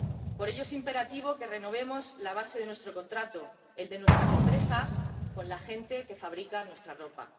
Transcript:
Por ello, es imperativo que renovemos la base de nuestro contrato, el de nuestras empresas, con la gente que fabrica nuestra ropa.